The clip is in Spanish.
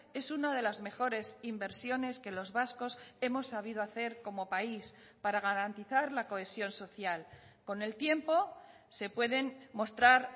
es una de las mejores inversiones que los vascos hemos sabido hacer como país para garantizar la cohesión social con el tiempo se pueden mostrar